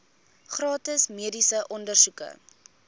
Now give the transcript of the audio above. gratis mediese ondersoeke